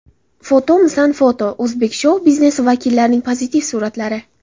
Fotomisan foto: O‘zbek shou-biznesi vakillarining pozitiv suratlari.